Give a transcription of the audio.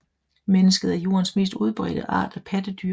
Mennesket er Jordens mest udbredte art af pattedyr